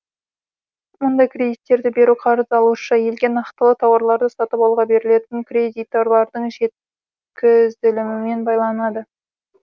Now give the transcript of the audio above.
мұндай кредиттерді беру қарыз алушы елге нақтылы тауарларды сатып алуға берілетін кредитолардың жеткізілімімен байланады